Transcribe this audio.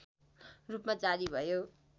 रूपमा जारी भयो